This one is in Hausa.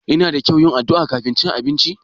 Yana da kyau yin addu'a kafin cin abinci?